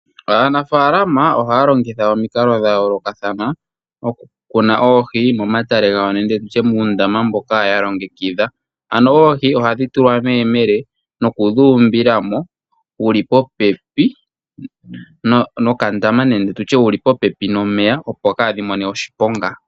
Aanafaalama ohaya longitha omikalo dhayoolokathana okukuna oohi momatale gawo nenge muundama mboka yalongekidha. Oohi ohadhi tulwa meyemele, nokudhuumbila mo wuli popepi nokandama nenge nomeya opo kaadhi mone oshiponga.